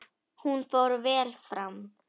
Hún fór vel fram.